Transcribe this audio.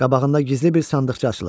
Qabağında gizli bir sandıqca açılacaq.